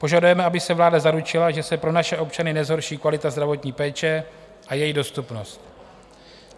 Požadujeme, aby se vláda zaručila, že se pro naše občany nezhorší kvalita zdravotní péče a její dostupnost.